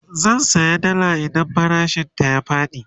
zan saya dalla idan farashin ta ya Faɗi